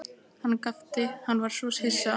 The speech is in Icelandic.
Hann gapti, hann var svo hissa.